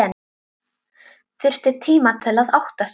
Þurfti tíma til að átta sig.